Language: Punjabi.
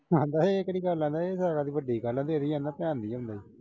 ਆਂਹਦਾ ਇਹ ਕਿਹੜੀ ਗੱਲ ਆ। ਇਹਦੀ ਤਾ ਅਜੇ ਵੱਡੀ ਗੱਲ ਆ। ਤੇਰੀ ਐਨਾ ਤਾਂ ਧਿਆਨ ਦਿੰਦੇ।